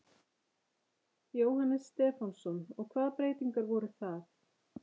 Jóhannes Stefánsson: Og hvaða breytingar voru það?